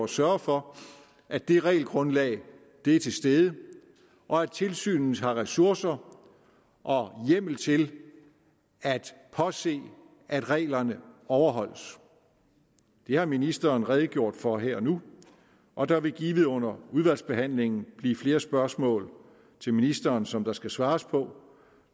sørge for at det regelgrundlag er til stede og at tilsynet har ressourcer og hjemmel til at påse at reglerne overholdes det har ministeren redegjort for her og nu og der vil givet under udvalgsbehandlingen blive flere spørgsmål til ministeren som der skal svares på